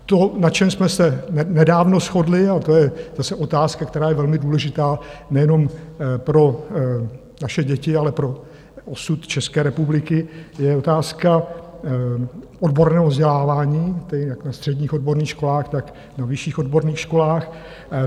To, na čem jsme se nedávno shodli, a to je zase otázka, která je velmi důležitá nejenom pro naše děti, ale pro osud České republiky, je otázka odborného vzdělávání, tedy jak na středních odborných školách, tak na vyšších odborných školách.